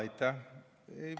Aitäh!